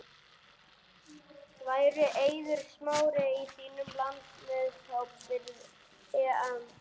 Væri Eiður Smári í þínum landsliðshóp fyrir EM?